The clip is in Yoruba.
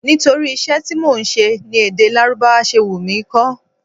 Nítorí iṣẹ́ tí mò ń ṣe ni èdè Lárúbáwá ṣe wù mí kó.